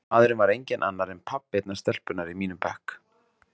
Maðurinn var enginn annar en pabbi einnar stelpunnar í mínum bekk.